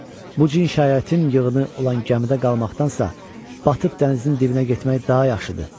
Bu cinayətin yığını olan gəmidə qalmaqdansansa, batıb dənizin dibinə getmək daha yaxşıdır.